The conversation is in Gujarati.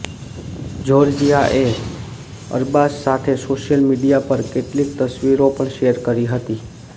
જોર્જિયાએ અરબાઝ સાથે સોશિયલ મીડિયા પર કેટલીક તસ્વીરો પણ શેર કરી હતી